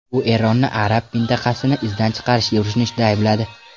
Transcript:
U Eronni arab mintaqasini izdan chiqarishga urinishda aybladi.